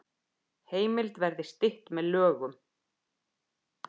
Heimild verði stytt með lögum